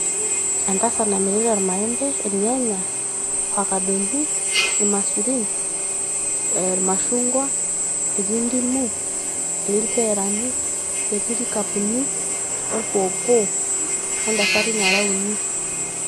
entasarat namirta irmaembe ,irnyanya ,ifakadoni ,irmaisurin ee irmashungwa etii ndimu etii impeerani netii nkikapuni orpoopo ontasati nara uni.